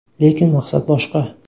Lekin maqsad boshqa.